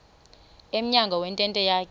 emnyango wentente yakhe